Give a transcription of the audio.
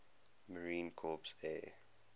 marine corps air